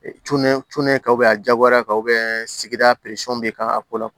Ka a jagoya ka sigida bɛ ka a ko la